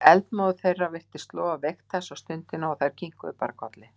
Eldmóður þeirra virtist loga veikt þessa stundina og þær kinkuðu bara kolli.